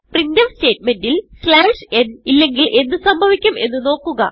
printf സ്റ്റേറ്റ്മെന്റിൽ n ഇല്ലെങ്കിൽ എന്ത് സംഭവിക്കും എന്ന് നോക്കുക